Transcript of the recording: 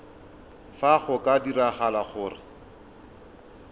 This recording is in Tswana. fa go ka diragala gore